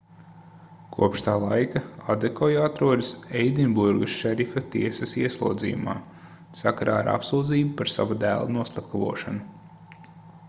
kopš tā laika adekoja atrodas edinburgas šerifa tiesas ieslodzījumā sakarā ar apsūdzību par sava dēla noslepkavošanu